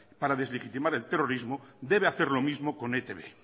para deslegitimar el terrorismo debe hacer lo mismo con etb